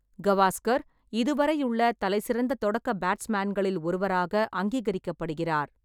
கவாஸ்கர் இதுவரையுள்ள தலைசிறந்த தொடக்க பேட்ஸ்மேன்களில் ஒருவராக அங்கீகரிக்கப்படுகிறார்.